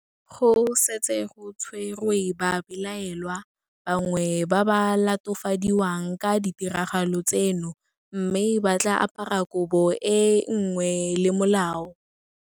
Go setse go tshwerwe babelaelwa bangwe ba ba latofadiwang ka ditiragalo tseno mme ba tla apara kobo e le nngwe le molao.